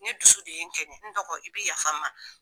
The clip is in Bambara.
Ni dusu de ye kɛɲɛn n dɔgɔ i bɛ yafa n ma.